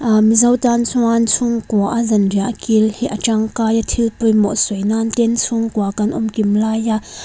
mizo tan chuan chungkua a zan riah kil hi a tangkai a thil pawimawh sawi nan ten chhungkua kan awm kim lai a--